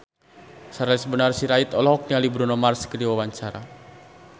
Charles Bonar Sirait olohok ningali Bruno Mars keur diwawancara